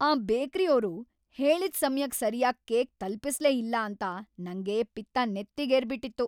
ಆ ಬೇಕ್ರಿಯೋರು ಹೇಳಿದ್ ಸಮಯಕ್ ಸರ್ಯಾಗಿ ಕೇಕ್ ತಲ್ಪಿಸ್ಲೇ ಇಲ್ಲ ಅಂತ ನಂಗೆ ಪಿತ್ತ ನೆತ್ತಿಗೇರ್ಬಿಟಿತ್ತು.